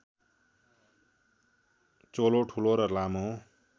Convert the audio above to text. चोलो ठूलो र लामो